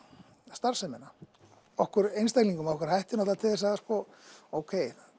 starfsemina okkur einstaklingunum hættir til þess að ókei